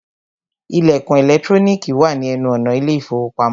Ìlẹ̀kùn ẹ̀lẹ́trónìkì wà ní ẹnu ọ̀nà ilé ìfọwọ́pamo.